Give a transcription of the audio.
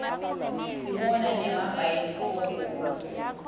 sibona nemabhayisikobho kubo